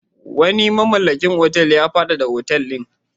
Wani mamallakin wani otal ya faɗaɗa otal ɗin.